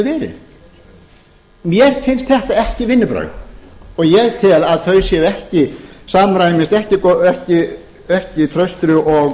verið mér finnst þetta ekki vinnubrögð og ég tel að þau samræmist ekki traustri og